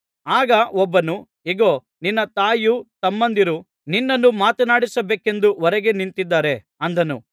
ಆಗ ಒಬ್ಬನು ಇಗೋ ನಿನ್ನ ತಾಯಿಯೂ ತಮ್ಮಂದಿರೂ ನಿನ್ನನ್ನು ಮಾತನಾಡಿಸಬೇಕೆಂದು ಹೊರಗೆ ನಿಂತಿದ್ದಾರೆ ಅಂದನು